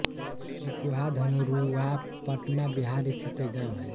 Sequoia Dhanarua Patna Bihar स्थित एक गाँव है